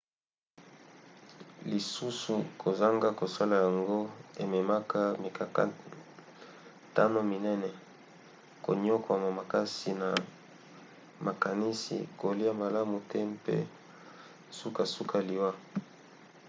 lisusu kozanga kosala yango ememaka mikakatano minene: koniokwama makasi na makanisi kolia malamu te mpe sukasuka liwa